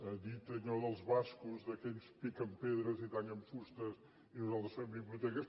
ha dit allò dels bascos que ells piquen pedres i tallen fustes i nosaltres fem biblioteques